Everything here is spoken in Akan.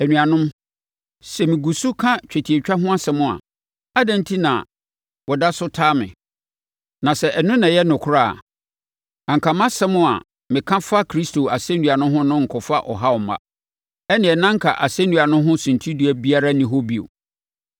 Anuanom, sɛ megu so ka twetiatwa ho asɛm a, adɛn enti na wɔda so taa me? Na sɛ ɛno na ɛyɛ nokorɛ a, anka mʼasɛm a meka fa Kristo asɛnnua ho no renkɔfa ɔhaw mma. Ɛnneɛ na anka asɛnnua no ho suntidua biara nni hɔ bio.